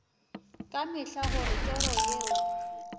ka mehla gore toro yeo